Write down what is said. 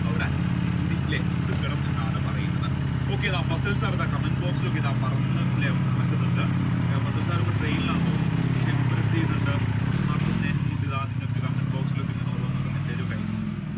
അവിടെ നികുതി അല്ലെ കൊടുക്കണം എന്നാണ് പറയുന്നത്. Okay, fasal sir comment box ഇൽ ഒക്കെ ഇടാൻ പറന്ന് പറന്നു നടക്കുന്നുണ്ട് fasal sir ഇപ്പൊ train ൽ ആണെന്ന് തോന്നുന്നു മൂപ്പർ എന്തെയുന്നുണ്ട് ആത്മാർത്ഥ സ്നേഹം കൊണ്ട് ഇതാ comment boxil ഇൽ ഓരോന്ന് message ഒക്കെ അയക്കുന്നുണ്ട്